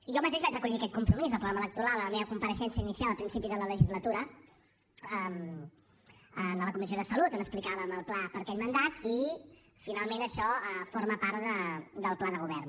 jo mateix vaig recollir aquest compromís del programa electoral en la meva compareixença inicial al principi de la legislatura a la comissió de salut on explicàvem el pla per a aquest mandat i finalment això forma part del pla de govern